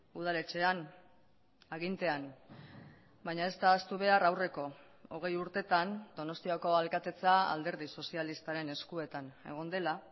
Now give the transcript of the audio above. udaletxean agintean baina ez da ahaztu behar aurreko hogei urtetan donostiako alkatetza alderdi sozialistaren eskuetan egon dela